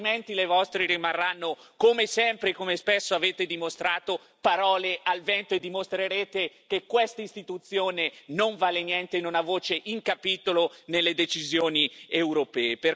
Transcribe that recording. Altrimenti le vostre rimarranno, come sempre e come spesso avete dimostrato, parole al vento, dimostrando una volta di più che questa Istituzione non vale niente e non ha voce in capitolo nelle decisioni europee.